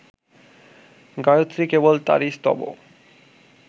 গায়ত্রী কেবল তাঁরই স্তব